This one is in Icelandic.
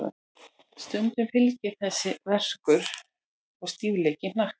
Stundum fylgir þessu verkur og stífleiki í hnakka.